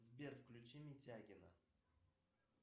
сбер включи митягина